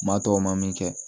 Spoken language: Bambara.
Maa tɔw ma min kɛ